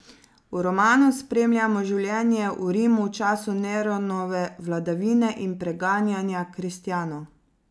V romanu spremljamo življenje v Rimu v času Neronove vladavine in preganjanja kristjanov.